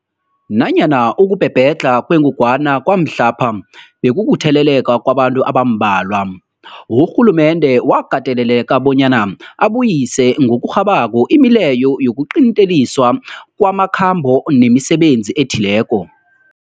Nanyana ukubhebhedlha kwengogwana kwamhlapha bekukutheleleka kwabantu abambalwa, urhulumende wakateleleka bona abuyise ngokurhabako imileyo yokuqinteliswa kwamakhambo nemisebenzi ethileko.